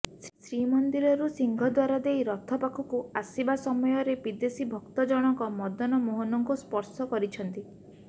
ଶ୍ରୀମନ୍ଦିରରୁ ସିଂହଦ୍ବାର ଦେଇ ରଥପାଖକୁ ଆସିବା ସମୟରେ ଏହି ବିଦେଶୀ ଭକ୍ତ ଜଣକ ମଦନମୋହନଙ୍କୁ ସ୍ପର୍ଶ କରିଛନ୍ତି